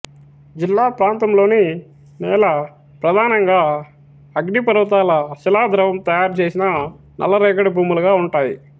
జిల్లా ప్రాంతంలోని నేల ప్రధానంగా అగ్నిపర్వతాల శిలాద్రవం తయారు చేసిన నల్ల రేగడి భూములుగా ఉంటాయి